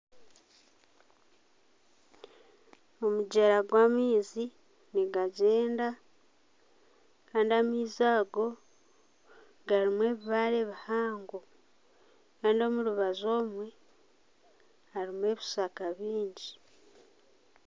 Omugyera gwamaizi nigagyenda Kandi amaizi ago garimu ebibaare bihango Kandi omurubaju omwe harimu ebishaka bingi